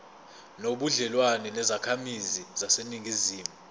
nobudlelwane nezakhamizi zaseningizimu